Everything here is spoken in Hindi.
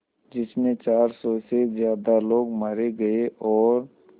जिस में चार सौ से ज़्यादा लोग मारे गए और